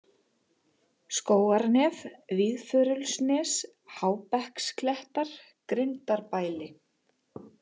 Skógarnef, Víðförulsnes, Hábekksklettar, Grindarbæli